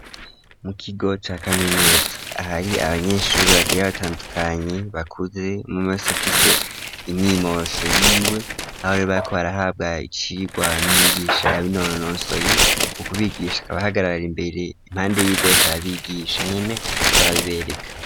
Mu kigo ca kaminuza ahari abanyeshuri bagiye batandukanye bakuze umwe wese ufise inyimosho yiwe ahorero bariko barahabwa icirwa na mwigisha ya binonosoye mu kubigisha akaba ahagarara imbere impande yivyo arabigisha nyene ariko arabibereka.